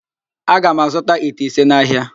Aga m azụta ite ise n'ahịa.